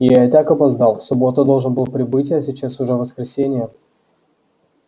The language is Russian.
я и так опоздал в субботу должен был прибыть а сейчас уже воскресенье